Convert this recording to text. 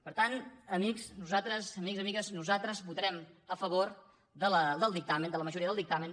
per tant amics i amigues nosaltres votarem a favor del dictamen de la majoria del dictamen